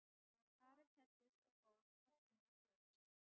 Ari klæddist og fór að finna föður sinn.